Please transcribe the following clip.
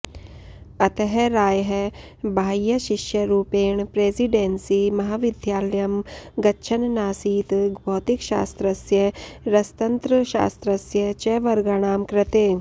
अतः रायः बाह्यशिष्यरूपेण प्रेसिडेन्सी महाविद्यालयं गच्छन्नासीत् भौतिकशास्त्रस्य रसतन्त्रशास्त्रस्य च वर्गाणां कृते